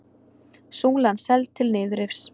Súlan seld til niðurrifs